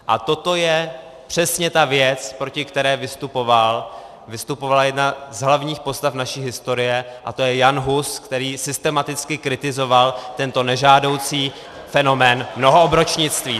A toto je přesně ta věc, proti které vystupovala jedna z hlavních postav naší historie, a to je Jan Hus, který systematicky kritizoval tento nežádoucí fenomén mnohoobročnictví.